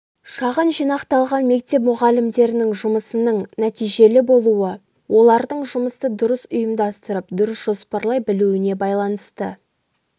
шағын жинақталған мектеп мұғалімдерінің жұмысының нәтижелі болуы олардың жұмысты дұрыс ұйымдастырып дұрыс жоспарлай білуіне байланысты